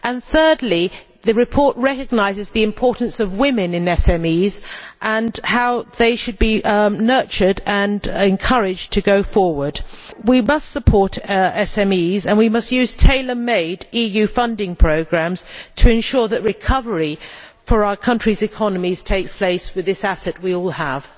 Thirdly, the report recognises the importance of women in SMEs and how they should be nurtured and encouraged to go forward. We must support SMEs and we must use tailor made EU funding programmes to ensure that recovery for our countries' economies takes place with this asset that we all have.